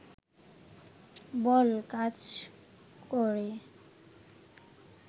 বল কাজ করে